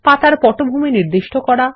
পাতার পটভূমি নির্দিষ্ট করা